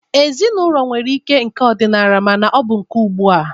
Ezinaụlọ nwere ike nke ọdịnala ma ọ bụ nke ugbua.